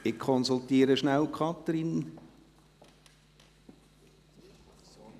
Ich konsultiere rasch die Vorsteherin des Rechtsamts der GEF, Kathrin Reichenbach.